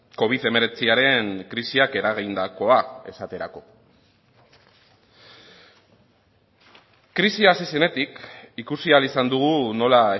covid hemeretziren krisiak eragindakoa esaterako krisia hasi zenetik ikusi ahal izan dugu nola